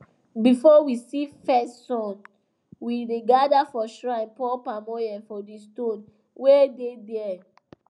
before we see first sun we dey gather for shrine pour palm oil for the stone wey dey there